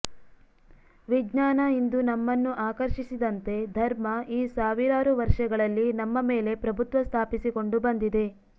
ವಿಜ್ಞಾನ ಇಂದು ನಮ್ಮನ್ನು ಆಕರ್ಷಿಸಿದಂತೆ ಧರ್ಮ ಈ ಸಾವಿರಾರು ವರ್ಷಗಳಲ್ಲಿ ನಮ್ಮ ಮೇಲೆ ಪ್ರಭುತ್ವ ಸ್ಥಾಪಿಸಿಕೊಂಡು ಬಂದಿದೆ